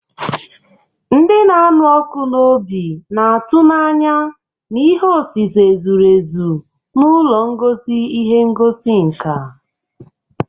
Ndị na-anụ ọkụ n'obi na-atụ n'anya na ihe osise zuru ezu na ụlọ ngosi ihe ngosi nka.